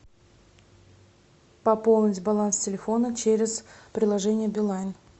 пополнить баланс телефона через приложение билайн